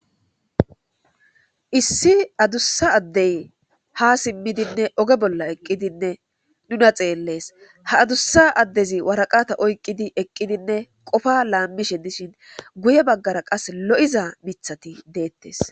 Issi adusa addezi ha simidi oge bolla eqidi nuna xelles. Ha adusa addezi waraqata oykidi eqqidinne qofa lamishe dishin guye bagara qase lo'iza mithati de'etes.